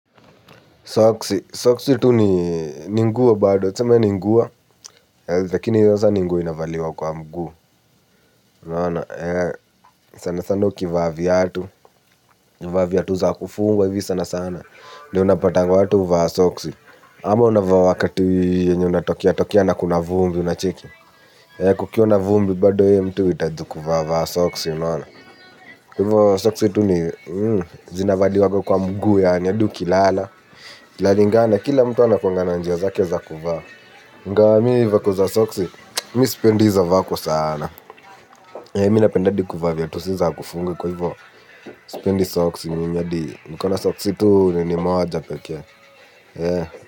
Soksi, soksi tu ni ni nguo bado, tuseme ni nguo, lakini sasa ni nguo inavaliwa kwa mguu, sana sana ukivaa viatu, ukivaa viatu za kufungwa hivi sana sana, ndio unapatanga watu huvaa soksi. Ama unavaa wakati unatokea na kuna vumbi, unacheki? Kukiwa na vumbi vumbi bado mtu huitaji kuvaa soksi unaona? Kwa hivo soksi tu ni zinavaliwanga kwa mguu yaani. Hadi ukilala. Inalingana, kila mtu anakuaga na njia zake za kuvaa. Ingawa mi vako za soksi, mi sipendi hizo vako saana. Mi napenda hadi kuvaa viatu si za kufunga kwa hivyo Spendiza Soksi mimi hadi nikona soksi tu ninii moja pekee.